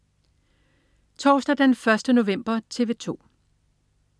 Torsdag den 1. november - TV 2: